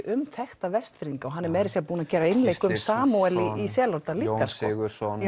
um þekkta Vestfirðinga og hann er meira að segja búin að gera einleik um Samúel í Selárdal Jón Sigurðsson